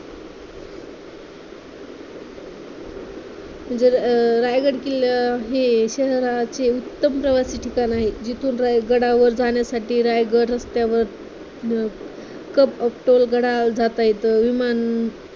म्हणजे अं रायगड किल्ला हे शहरातील उत्तम प्रवासी ठिकाण आहे. जिथुन रायगडावर जाण्यासाठी रायगड रस्त्यावर अं गडावर जाता येतं विमान